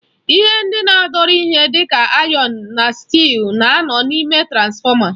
Ihe ndị na-adọrọ ihe dịka ayọn na stị́ịl na-anọ n'ime transfọma.